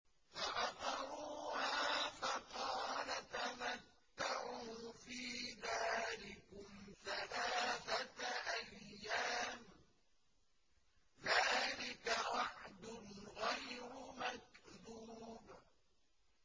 فَعَقَرُوهَا فَقَالَ تَمَتَّعُوا فِي دَارِكُمْ ثَلَاثَةَ أَيَّامٍ ۖ ذَٰلِكَ وَعْدٌ غَيْرُ مَكْذُوبٍ